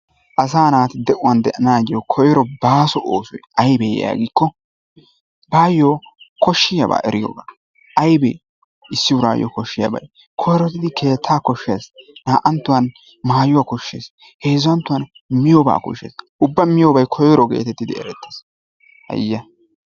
Asay naati de'uwaan de"anayyo koyro baaso oosoy aybbe yaagikko baayo koshshiyaaba eriyooga. Aybbe issi urayyo koshshiyaababy. Koyrotiddi keettaa koshshees. Naa"anttuwan maayuwaa koshshees, heezzanttuwan miyyooba koshshees. Ubba miyyoobay koyro getettidi erettees, hayya!